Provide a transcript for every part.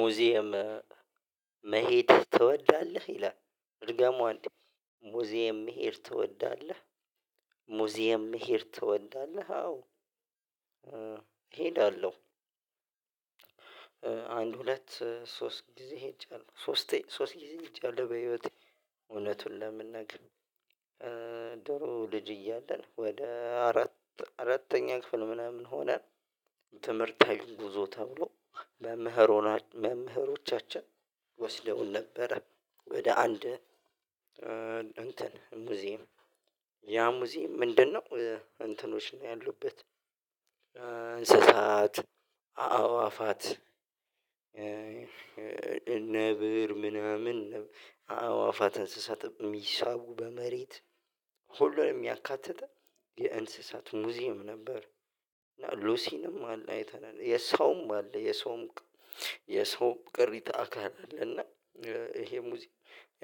ሙዚየም መሄድ ትወዳለህ ይላል እርግጠኛ አንድ ሙዚየም መሄድ ትወዳለህ ሙዚየም መሄድ ትወዳለህ አዎ? እሄዳለሁ። አንድ ሁለት ሶስት ጊዜ ሄጃለሁ ሶስት ሶስት ጊዜ ይቻላል። በህይወቴ እውነቱን ለመናገር። ድሮ ልጅ እያለን ወደ አራት አራተኛ ክፍል ምናምን ሆነ። ትምህርታዊ ጉዞ ተብሎ መምህር ሆና መምህሮቻችን ወስደውን ነበረ። ወደ አንድ እንትን ሙዚየም ያ ሙዚየም ምንድነው? እንትኖች ነው ያሉበት። አንስሳት አዋፋት እነ ነብር ምናምን አዋፋት እንስሳት የሚሳቡ በመሬት ሁሉንም ያካተተ የእንስሳት ሙዚየም ነበር። እና ሉሲንም አለ አይተናል የሰውም አለ የሰውም የሰው ቅሪታ አካል አይደለም እና። ይሄ ሙዚም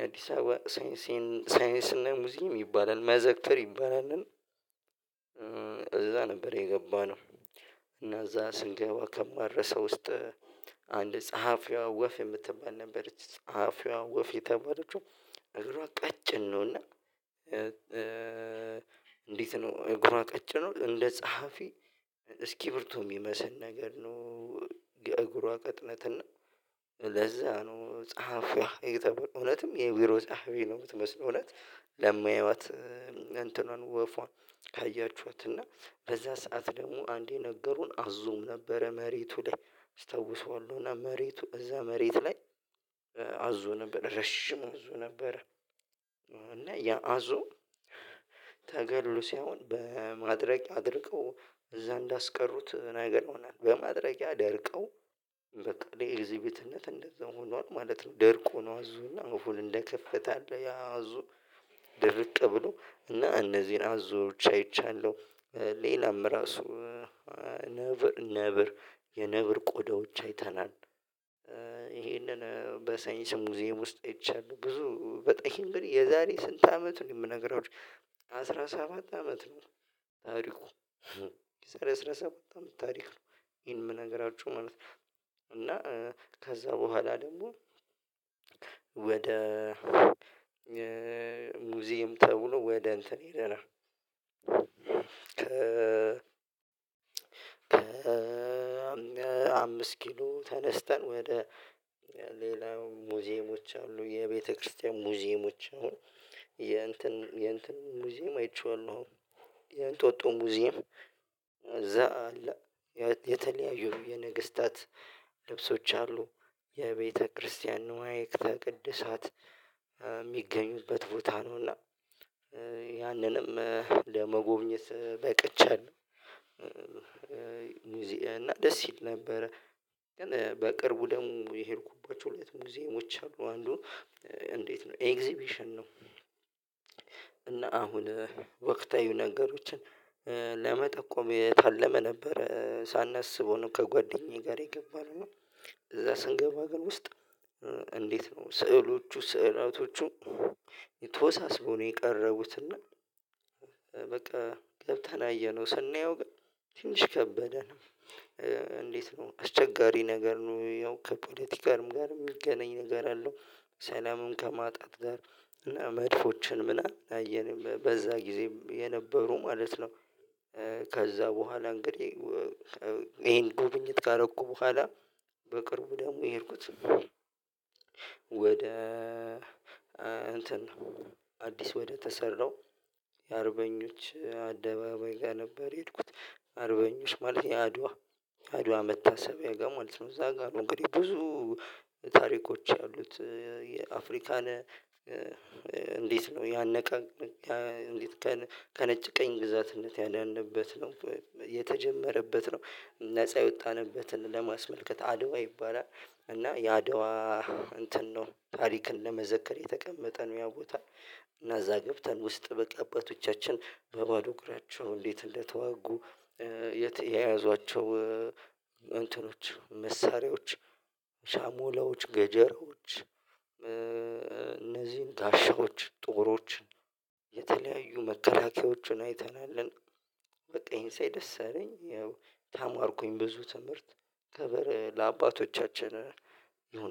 አዲስ አበባ ሳይንሴን ሳይንስና ነገር ሙዚም ይባላል መዘክተር ይባላልን። እዛ ነበር የገባነው። እና እዛ ስንገባ ከማረሰው ውስጥ አንድ ጸሐፊዋ ወፍ የምትባል ነበረች ጸሐፊዋ ወፍ የተባለችው እግሯ ቀጭን ነውና። እንዴት ነው እግሯ ቀጭ ነው እንደ ጸሐፊ እስኪ ብርቱ የሚመስል ነገር ነው። የእግሯ ቀጥነት እና ለዛ ነው ጸሐፊ ተብሎ እውነትም የቢሮ ጸሐፊ ነው የምትመስለው። እውነት ለማያዩዋት እንትኑን ወፏን ካያችሁት እና በዛ ሰዓት ደግሞ አንዴ ነገሩን አዙም ነበረ መሬቱ ላይ አስታውሰዋለሁ እና መሬቱ እዛ መሬት ላይ አዙ ነበር ረሽሙ አዞ ነበር። እና ያ አዞ ተገሉ ሳይሆን በማድረግ አድርገው እዛ እንዳስቀሩት ነገር ሆነን በማድረግ ደርቀው በቃ እኔ ኤግዚቢትነት እንደዛ ሆኗል ማለት ነው። ደርቆ ነው አዙና አሁን እንደ ከፍተኛ አዙ ድርቅ ብሎ እና እነዚህን አብዙዎች አይቻለሁ። ሌላም ራሱ ነብር ነብር የነብር ቆዳዎች አይተናል። ይሄንን በሳይንስ ሙዚየም ውስጥ ይቻላል ብዙ በጣም እንግዲህ የዛሬ ስንት አመት ነው የምነግራው አስራ ሰባት አመት ነው። ታሪኩ አነስራረሰባት አመት ታሪክ ነው ይሄን የምነግራችሁ ማለት ነው። እና ከዛ በኋላ ደግሞ ወደ ሙዚየም ተብሎ ወደ እንትን ሂደናል። አምስት ኪሎ ተነስተን ወደ ሌላው ሙዚየሞች አሉ የቤተክርስቲያን ሙዚየሞች አሉ። የእንትን የእንትን ሙዚየም አይቼዋለሁ። የእንጦጦ ሙዚየም እዛ የተለያዩ የነገስታት ልብሶች አሉ የቤተክርስቲያን ንዋይ ተቅድሳት የሚገኙበት ቦታ ነውና። ያንንም ለመጎብኘት በቅቼን እና ደስ ይል ነበረ። በቅርቡ ደሙ የሄድኩባቸው ሁለት ሙዚየሞች አሉ አንዱ እንዴት ነው ኤግዚቢሽን ነው እና አሁን ወቅታዊ ነገሮችን ለመጠቆም የታለመ ነበር ሳናስበው ነው ከጓደኛዬ ጋር የገባነው ነው። ስንገባ ግን ውስጥ እንዴት ነው ስዕሎቹ ስዕላቶቹ የተወሳሰበው ነው የቀረቡት እና በቃ ገብተን አየነው ስናየው ግን ትንሽ ከበደ ነው። እንዴት ነው አስቸጋሪ ነገር ነው ያው ከፖለቲካልም ጋር የሚገኘኝ ነገር አለው። ሰላምን ከማጣት ጋር መድፎችን ምናምን አየን በዛ ጊዜም የነበሩ ማለት ነው። ከዛ በኋላ እንግዲህ ይሄን ጉብኝት ካረኩ በኋላ። በቅርቡ ደግሞ የሄድኩት ወደ አንተን አዲስ ወደ ተሰራው የአርበኞች አደባባይ ጋር ነበር የሄድኩት አርበኞች ማለት የአድዋ አድዋ መታሰቢያ ጋር ማለት ነው እዛ ጋር ነው። እንግዲህ ብዙ ታሪኮች ያሉት የአፍሪካን እንዴት ነው ያነቀ ከነጭ ቀኝ ግዛትነት ያደነበት ነው። የተጀመረበት ነው ነፃ የወጣንበትን ለማስመልከት አድዋ ይባላል እና የአድዋ እንትን ነው ታሪክን ለመዘከር የተቀመጠ ነው። ያው ቦታ እና እዛ ገብተን ውስጥ በአባቶቻችን በባዶ እኩራቸው እንዴት እንደተዋጉ የተያያዟቸው እንትኖች መሳሪያዎች ሻሞላዎች ገጀሮች እነዚህን ታሻዎች ጦሮችን የተለያዩ መከላከያዎችን አይተናል። በቃ ይሄን ሳይ ደስ አለኝ። ያው ታማርኩኝ ብዙ ትምህርት ከበረ ለአባቶቻችን ይሁን